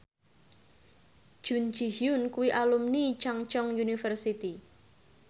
Jun Ji Hyun kuwi alumni Chungceong University